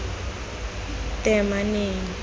teemaneng